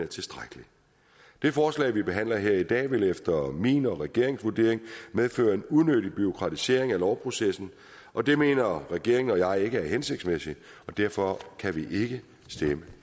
tilstrækkelig det forslag vi behandler her i dag vil efter min og regeringens vurdering medføre en unødig bureaukratisering af lovprocessen og det mener regeringen og jeg ikke er hensigtsmæssigt derfor kan vi ikke stemme